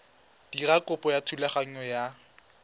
dira kopo ya thulaganyo ya